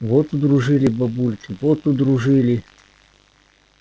вот удружили бабульки вот удружили